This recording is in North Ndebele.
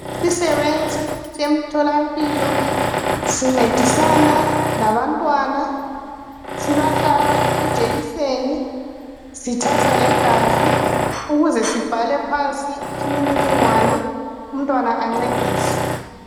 Yizisebenzi semtholampilo sincedisana labantwana sibahlaba ijekiseni sithatha legazi ukuze sibhale phansi imininingwane umntwana ancediswe.